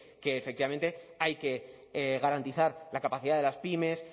que efectivamente hay que garantizar la capacidad de las pymes